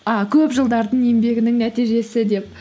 і көп жылдардың еңбегінің нәтижесі деп